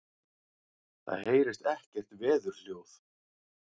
Það heyrist ekkert veðurhljóð.